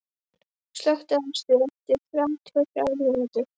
Héðinn, slökktu á þessu eftir þrjátíu og þrjár mínútur.